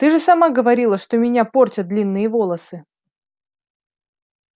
ты же сама говорила что меня портят длинные волосы